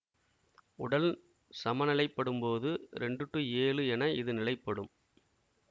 உடல் சமநிலைப்படும்போது இரண்டு டு ஏழு என இது நிலைப்படும்